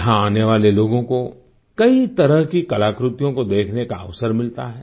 यहाँ आने वाले लोगों को कई तरह की कलाकृतियों को देखने का अवसर मिलता है